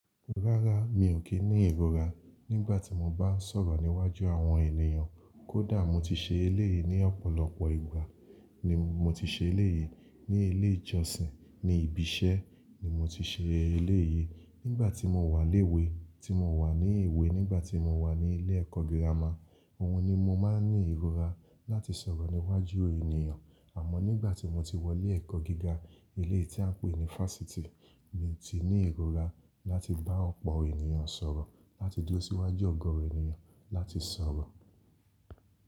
Rárá, mi ò kí ní ìrora nígbà tí mo bá ń sọ̀rọ̀ níwájú àwọn ènìyàn. Kódà mo ti ṣe eléyìí ní ọ̀pọ̀lọpọ̀ ìgbà ni mo ti ṣe eléyìí. Ní ilé ìjọsìn, ní ibi iṣẹ́ ni mo ti ṣe eléyìí. Nígbà tí mo wà léwe, tí mo wà ní èwe, nígbà tí mo wà ní ilé ẹ̀kọ́ gírámà, òun ni mo máa ń ní ìrora láti sọ̀rọ̀ níwájú ènìyàn. Àmọ́ nígbà tí mo ti wọlé ẹ̀kọ́ gíga eleyi tí à ń pè ní Fáṣítì ni ti ní ìrora láti bá ọ̀pọ̀ ènìyàn sọ̀rọ̀, láti duró síwájú ọ̀gọọrọ̀ ènìyàn láti sọ̀rọ̀.